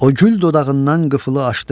O gül dodağından qıfılı açdı.